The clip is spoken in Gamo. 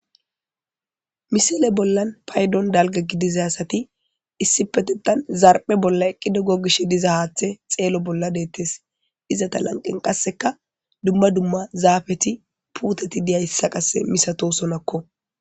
Missile bolla payiddonni daligga gidiza asati issippeteththan zaraphphe bolla eqqidi gogishshe diza haththe xello bolla detees.izeta laniqenni qasekka dumma dumma zafetti puteti diyasa qase misatosonakko.